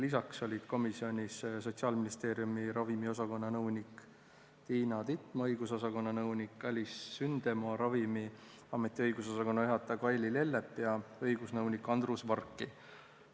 Lisaks olid komisjonis Sotsiaalministeeriumi ravimiosakonna nõunik Tiina Titma, õigusosakonna nõunik Alice Sündema, Ravimiameti õigusosakonna juhataja Kaili Lellep ja õigusnõunik Andrus Varki.